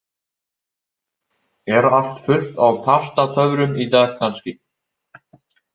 Er allt fullt á Pastatöfrum í dag kannski?